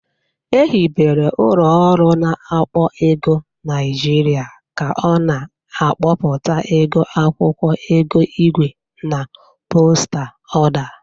Ehibere ụlọ ọrụ na-akpọ ego Niajịrịa ka ọ na-akpọpụta ego akwụkwọ, ego igwe na postal ọda.